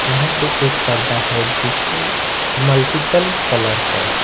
यहां पर एक पर्दा है जिसका मल्टीपल कलर है।